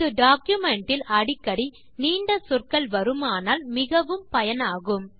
இது டாக்குமென்ட் இல் அடிக்கடி நீண்ட சொற்கள் வருமானால் மிகவும் பயனாகும்